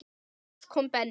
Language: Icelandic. Loks kom Benni.